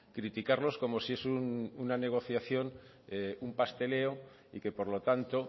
criticarlos como si es una negociación un pasteleo y que por lo tanto